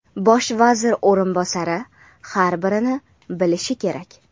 Bosh vazir o‘rinbosari har birini bilishi kerak.